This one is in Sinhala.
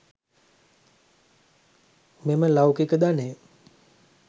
මෙම ලෞකික ධනය